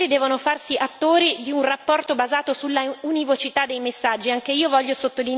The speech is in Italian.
Gli Stati membri devono farsi attori di un rapporto basato sulla univocità dei messaggi.